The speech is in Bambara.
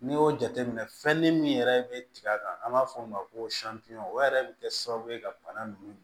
N'i y'o jateminɛ fɛnni min yɛrɛ bɛ tigɛ a kan an b'a fɔ o ma ko o yɛrɛ bɛ kɛ sababu ye ka bana ninnu